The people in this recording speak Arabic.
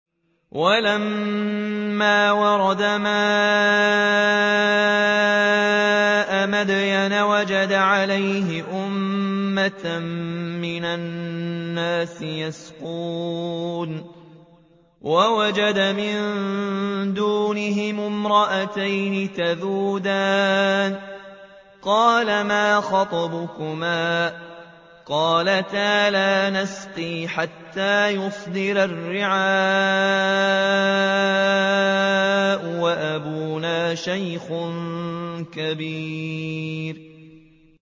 وَلَمَّا وَرَدَ مَاءَ مَدْيَنَ وَجَدَ عَلَيْهِ أُمَّةً مِّنَ النَّاسِ يَسْقُونَ وَوَجَدَ مِن دُونِهِمُ امْرَأَتَيْنِ تَذُودَانِ ۖ قَالَ مَا خَطْبُكُمَا ۖ قَالَتَا لَا نَسْقِي حَتَّىٰ يُصْدِرَ الرِّعَاءُ ۖ وَأَبُونَا شَيْخٌ كَبِيرٌ